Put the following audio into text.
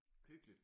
Hyggeligt